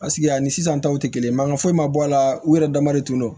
ani sisan taw tɛ kelen ye mankan foyi ma bɔ a la u yɛrɛ dama de tun do